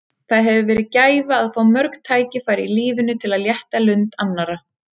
Það hefur verið gæfa að fá mörg tækifæri í lífinu til að létta lund annarra.